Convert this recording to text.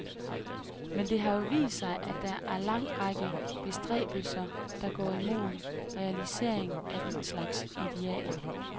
Men det har jo vist sig, at der er en lang række bestræbelser, der går imod realisering af den slags idealer.